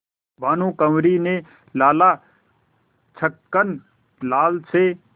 भानकुँवरि ने लाला छक्कन लाल से